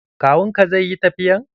Kawun ka zai yi tafiyan?